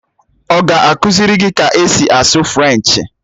Ọ ga-akụziri gị ka esi asụ Frenchi?